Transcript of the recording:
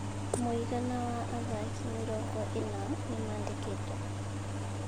Mũigana wa athaki mĩrongo ĩna nĩmandĩkĩtwo.